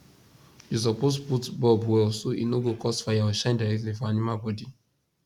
you suppose put bulb well so e no go cause fire or shine directly for animal body